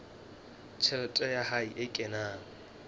tjhelete ya hae e kenang